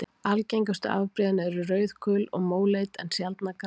Algengustu afbrigðin eru rauð-, gul- og móleit en sjaldnar græn.